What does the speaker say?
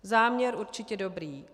Záměr určitě dobrý.